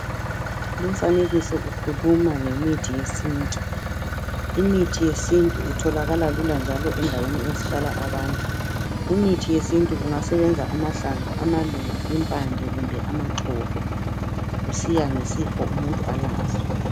Lumfanekiso ukhuluma ngemithi yesintu . Imithi yesintu itholakala lula njalo endaweni ezihlala abantu .Kumithi yesintu kungasebenza , amahlamvu ,amaluba, impande kumbe amaxolo kusiya ngesifo umuntu alaso.